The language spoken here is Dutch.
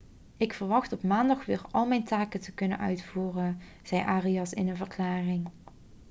ik verwacht op maandag weer al mijn taken te kunnen uitvoeren' zei arias in een verklaring